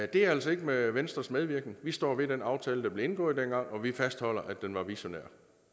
bliver altså ikke med venstres medvirken vi står ved den aftale der blev indgået dengang og vi fastholder at den var visionær